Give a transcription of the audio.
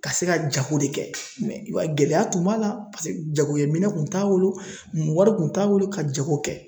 Ka se ka jago de kɛ mɛ i b'a ye gɛlɛya tun b'a la jagokɛ minɛn kun t'a bolo, wari kun t'a bolo ka jago kɛ